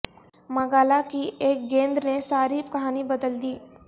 مگالا کی ایک گیند نے ساری کہانی بدل دی